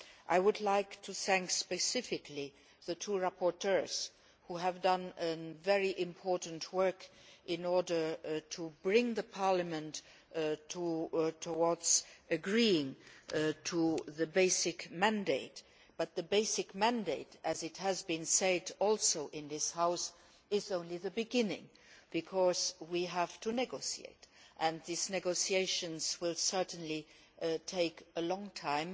I would like to thank specifically the two rapporteurs, who have done very important work in order to bring Parliament towards agreeing to the basic mandate, but the basic mandate, as has also been said in this House, is only the beginning, because we have to negotiate. These negotiations will certainly take a long time,